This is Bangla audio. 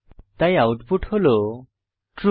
তাই আউটপুট হল ট্রু